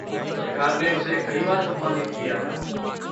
सरकार ने उसे कई बार सम्मानित किया था।